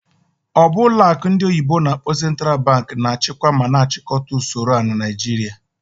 Ọ bụ ọlụ akụ ndị oyibo n'akpọ "Central Bank" na-achịkwa ma na-achịkọta usoro a na Naijiria?